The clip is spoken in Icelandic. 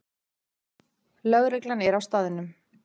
Lögreglan er á staðnum